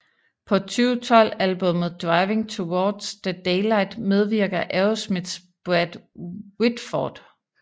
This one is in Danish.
På 2012 albummet Driving Towards the Daylight medvirker Aerosmiths Brad Whitford